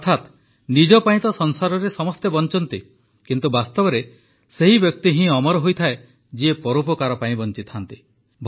ଅର୍ଥାତ୍ ନିଜ ପାଇଁ ତ ସଂସାରରେ ସମସ୍ତେ ବଞ୍ଚନ୍ତି କିନ୍ତୁ ବାସ୍ତବରେ ସେହି ବ୍ୟକ୍ତି ହିଁ ଅମର ହୋଇଥାଏ ଯିଏ ପରୋପକାର ପାଇଁ ବଂଚେ